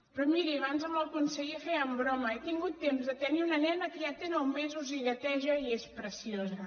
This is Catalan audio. però miri abans amb el conseller fèiem broma he tingut temps de tenir una nena que ja té nou mesos i gateja i és preciosa